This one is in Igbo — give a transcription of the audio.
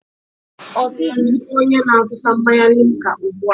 Ọ dịghị onye na-azụta mmanya limca ụbọchị ndị a.